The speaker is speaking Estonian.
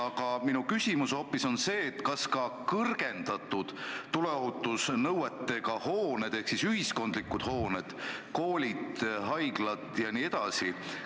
Aga kuidas on kõrgendatud tuleohutusnõuetega hoonete ehk siis ühiskondlike hoonetega: koolid, haiglad jne?